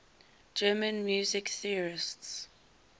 german music theorists